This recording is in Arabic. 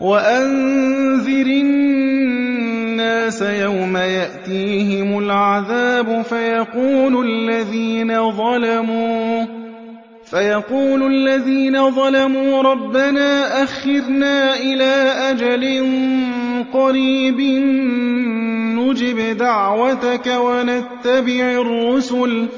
وَأَنذِرِ النَّاسَ يَوْمَ يَأْتِيهِمُ الْعَذَابُ فَيَقُولُ الَّذِينَ ظَلَمُوا رَبَّنَا أَخِّرْنَا إِلَىٰ أَجَلٍ قَرِيبٍ نُّجِبْ دَعْوَتَكَ وَنَتَّبِعِ الرُّسُلَ ۗ